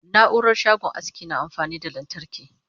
naurar shagon aski na amfani da lantarki